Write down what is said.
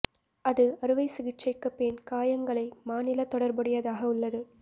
அது அறுவை சிகிச்சைக்கு பின் காயங்களை மாநில தொடர்புடையதாக உள்ளது